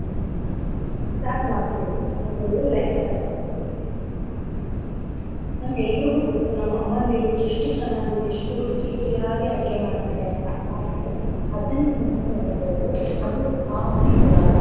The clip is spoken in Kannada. Start ಮಾಡ್ಕೋಬೇಕು. ನಮ್ ಒಳ್ಳೆ life start ಮಾಡ್ಕೋಂಬೇಕು. ನಮ್ಮೆಲ್ರಿಗೂ ಗೊತ್ತು ನಮ್ ಅಮ್ಮಂದ್ರು ಎಷ್ಟು ಚೆನ್ನಾಗಿ ಎಷ್ಟು ರುಚಿ ರುಚಿಯಾಗಿ ಅಡ್ಗೆ ಮಾಡ್ತಾರೆ ಅಂತ ಆದ್ರೂ ಅದನ್ನ ನಾವ್ ಮಾಡಕ್ ಹೋದ್ರು ಅದು ಆ ರುಚಿ ಕೊಡಲ್ಲ.